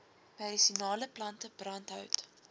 medisinale plante brandhout